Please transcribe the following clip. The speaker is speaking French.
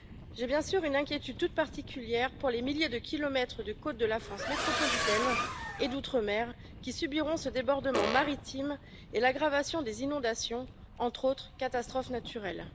Je suis bien sûr particulièrement inquiète pour les milliers de kilomètres de côtes de la France métropolitaine et d'outre mer qui subiront ce débordement maritime et l'aggravation des inondations, entre autres catastrophes naturelles.